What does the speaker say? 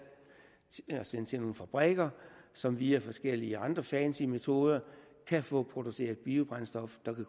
til at sende til nogle fabrikker som via forskellige andre fancy metoder kan få produceret biobrændstoffer der kan